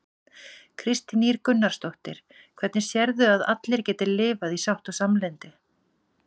Kristín Ýr Gunnarsdóttir: Hvernig sérðu að allir geti lifað í sátt og samlyndi?